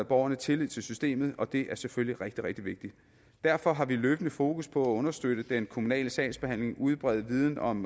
borgerne tillid til systemet og det er selvfølgelig rigtig rigtig vigtigt derfor har vi løbende fokus på at understøtte den kommunale sagsbehandling og udbrede viden om